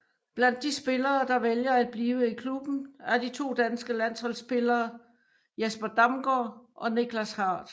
Blandt de spillere der vælger at blive i klubben er de to danske landsholdsspillere Jesper Damgaard og Nichlas Hardt